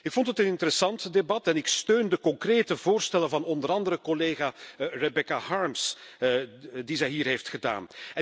Ik vond het een interessant debat en ik steun de concrete voorstellen van onder andere collega Rebecca Harms, die zij hier heeft gedaan.